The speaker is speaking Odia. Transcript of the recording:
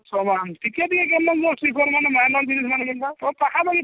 ସମାନ ଟିକେ ବି କେନ୍ତା ତ ତାହା ଲାଗି